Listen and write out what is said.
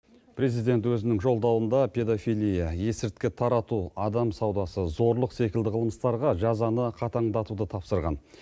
президент өзінің жолдауында педофилия есірткі тарату адам саудасы зорлық секілді қылмыстарға жазаны қатаңдатуды тапсырған